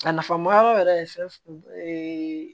A nafa ma yɔrɔ yɛrɛ ye fɛn